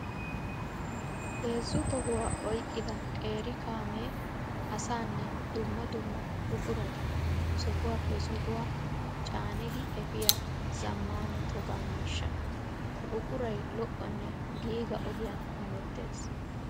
Heezzu tohuwa oyqqidda qeeri kaame asanne dumma dumma buquratta sohuwappe sohuwaa caaniddi efiya zamaana toga miishsha. Ha buquray lo'onne giiga ogiyan hemettes.